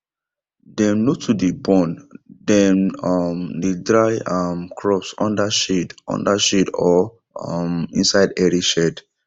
dem no too dey burn dem um dey dry um crops under shade under shade or um inside airy shed